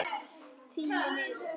Tíu niður.